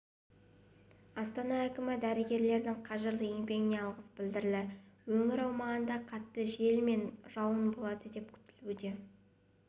астана әкімі дәрігерлердің қажырлы еңбегіне алғыс білдірді өңір аумағында қатты жел мен жауын болады деп күтілуде